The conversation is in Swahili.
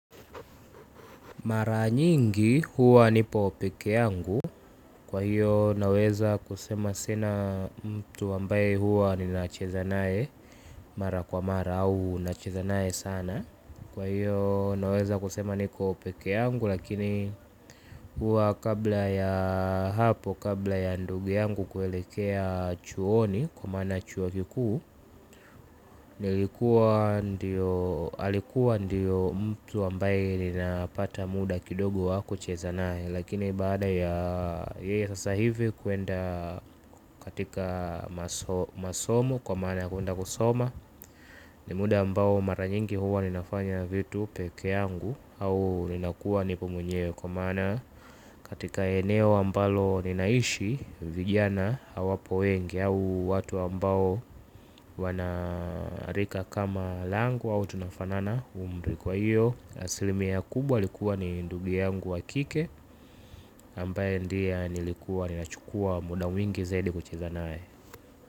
Mara nyingi huwa nipo peke yangu kwa hiyo naweza kusema sina mtu ambaye huwa nina cheza nae mara kwa mara au nacheza nae sana. Kwa hiyo naweza kusema niko peke yangu lakini huwa kabla ya hapo kabla ya ndugu yangu kuelekea chuoni kwa maana chuo kikuu alikuwa ndio mtu ambaye napata muda kidogo wakucheza nae. Lakini baada ya yeye sasa hivi kuenda katika masomo kwa maana kuenda kusoma. Ni muda ambao maranyingi huwa ninafanya vitu peke yangu au inakua nipomwenye. Kwa maana katika eneo ambalo ninaishi vijana hawapo wengi au watu ambao wanarika kama langu au tunafanana umri kwa hiyo. Asilimi ya kubwa alikuwa ni ndugu yangu wa kike ambaye ndiye nilikuwa ninachukua muda mwingi zaidi kucheza nae.